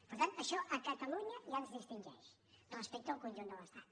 per tant això a catalunya ja ens distingeix respecte al conjunt de l’estat